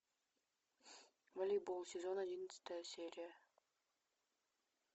малибу сезон одиннадцатая серия